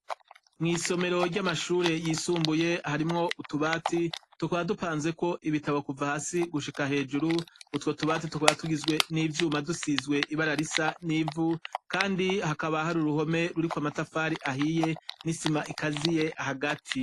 mw'isomero rya mashuri yisumbuye harimwo utubati tukaba dupanzeko ibitabo kuva hasi gushika hejuru utwo tubati tukaba tugizwe n'ivyuma dusizwe ibara risa n'ivu kandi hakaba hari uruhome ruriko amatafari ahiye n'isima ikaziye hagati.